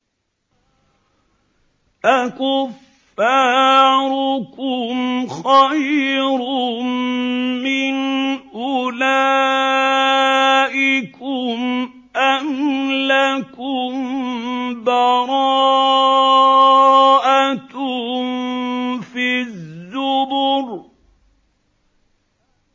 أَكُفَّارُكُمْ خَيْرٌ مِّنْ أُولَٰئِكُمْ أَمْ لَكُم بَرَاءَةٌ فِي الزُّبُرِ